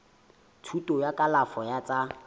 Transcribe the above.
thuto ya kalafo ya tsa